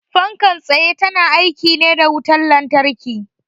Fankar tsaye ta na aiki ne da wutan lantarki